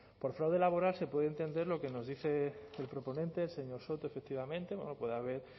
por fraude laboral se puede entender lo que nos dice el proponente el señor soto efectivamente puede haber